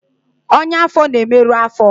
ọnyá afọ na-emerụ afo